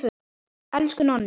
Elsku Nonni.